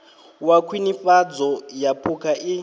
wa khwinifhadzo ya phukha i